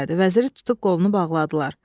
Vəziri tutub qolunu bağladılar.